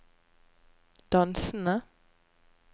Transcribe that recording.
dansende